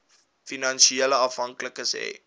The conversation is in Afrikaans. finansiële afhanklikes hê